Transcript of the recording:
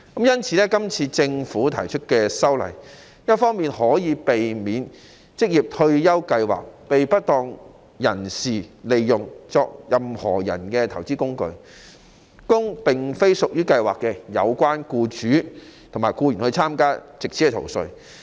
因此，政府提出修例，避免職業退休計劃被不當人士利用作投資工具，供並非屬於計劃的有關僱主及僱員參加，藉此逃稅。